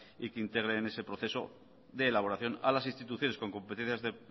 y que integre en ese proceso de elaboración a las instituciones con competencias